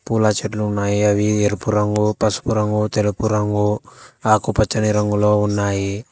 పూల చెట్లు ఉన్నాయి అవి ఎరుపు రంగు పసుపు రంగు తెలుపు రంగు ఆకుపచ్చని రంగులో ఉన్నాయి.